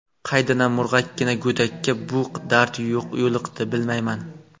Qaydanam murg‘akkina go‘dakka bu dard yo‘liqdi, bilmayman.